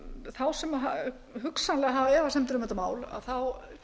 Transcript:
þá sem hugsanlega hafa efasemdir um þetta mál þá